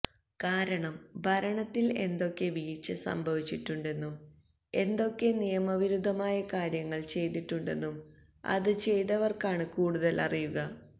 കാരണം ഭരണത്തില് എന്തൊക്കെ വീഴ്ച സംഭവിച്ചിട്ടുണ്ടെന്നും എന്തൊക്കെ നിയമവിരുദ്ധമായ കാര്യങ്ങള് ചെയ്തിട്ടുണ്ടെന്നും അത് ചെയ്തവര്ക്കാണ് കൂടുതല് അറിയുക